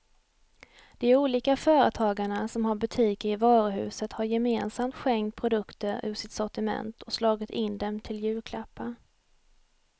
De olika företagarna som har butiker i varuhuset har gemensamt skänkt produkter ur sitt sortiment och slagit in dem till julklappar.